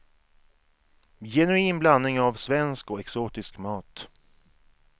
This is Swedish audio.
Genuin blandning av svensk och exotisk mat.